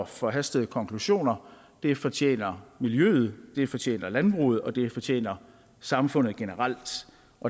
forhastede konklusioner det fortjener miljøet det fortjener landbruget og det fortjener samfundet generelt